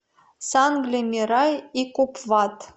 сангли мирай и купвад